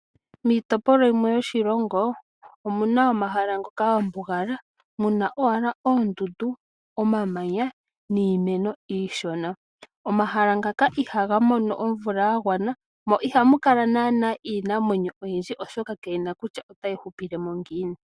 Miitopolwa yimwe yoshilongo omu na omahala ngoka ga mbugala, mu na owala oondundu, omamanya niimeno iishona. Omahala ngaka ihaga mono omvula ya gwana, mo ihamu kala naana iinamwenyo oyindji, oshoka ka yi na kutya otayi hupile mo ngiini.